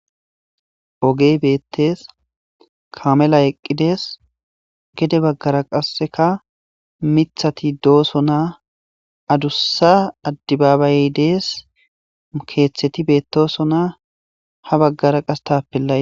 Ogey beetes.kameley eqides gede bagara qaseka mithati doosona adusa adibabayey dees keethati beetosona ha bagara qaseka tapelay dees.